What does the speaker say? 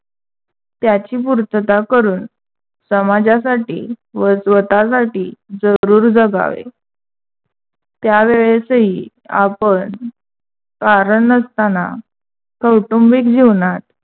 त्याची पूर्तता करून समाजासाठी व स्वतःसाठी जरूर जगावे. त्या वेळेसही आपण कारण नसताना कौटुंबिक जीवनात